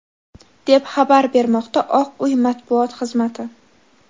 deb xabar bermoqda Oq uy matbuot xizmati.